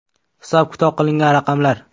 Hisob-kitob qilingan raqamlar.